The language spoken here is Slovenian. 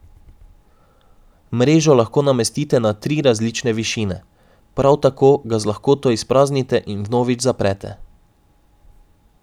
Mrežo lahko namestite na tri različne višine, prav tako ga z lahkoto izpraznite in vnovič zaprete.